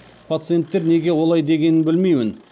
пациенттер неге олай дегенін білмеймін